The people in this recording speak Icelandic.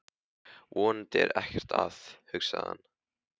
Vonandi er ekkert að, hugsaði hann.